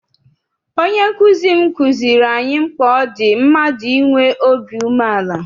Onye nkụzi m kụziere anyị mkpa ọ dị mmadụ inwe obi umeala.